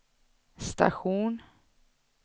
station